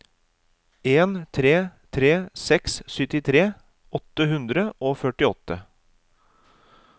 en tre tre seks syttitre åtte hundre og førtiåtte